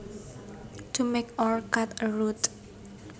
To make or cut a route